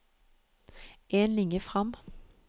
En linje fram